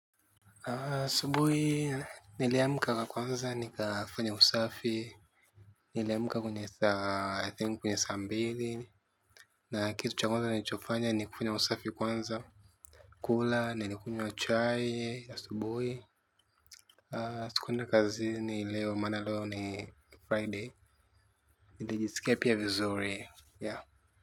Sumbui niliamka kwanza nikafanya usafi, niliamka kwenye saa I think kwenye saa mbili. Na kitu cha kwanza nilichofanya ni kufanya usafi kwanza kula ni nikunywa chai ya asubuhi. Sikuenda kazini leo maana leo ni Friday, nilijisikia pia vizuri yeah.